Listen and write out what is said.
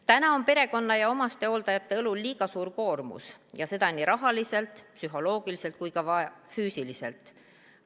Täna on perekonna ja omastehooldajate õlule jäänud liiga suur koormus ja seda nii rahaliselt, psühholoogiliselt kui ka füüsiliselt.